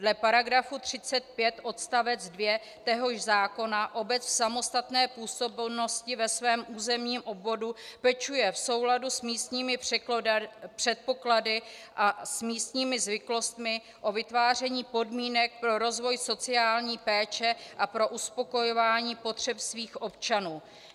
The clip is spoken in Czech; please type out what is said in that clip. Dle § 35 odst. 2 téhož zákona obec v samostatné působnosti ve svém územním obvodu pečuje v souladu s místními předpoklady a s místními zvyklostmi o vytváření podmínek pro rozvoj sociální péče a pro uspokojování potřeb svých občanů.